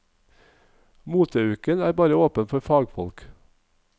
Moteuken er bare åpen for fagfolk.